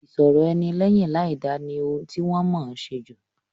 Ìṣọ̀rọ̀-ẹni lẹ́yìn láìda ni ohun ti wọ́n mọ̀ọ́ ṣe jù.